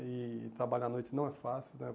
E trabalhar à noite não é fácil, né?